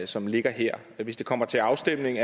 som ligger her hvis det kommer til afstemning